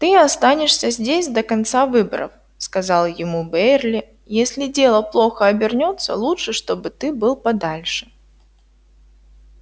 ты останешься здесь до конца выборов сказал ему бэйерли если дело плохо обернётся лучше чтобы ты был подальше